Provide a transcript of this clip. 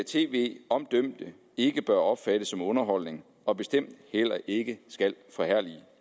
tv om dømte ikke bør opfattes som underholdning og bestemt heller ikke skal forherlige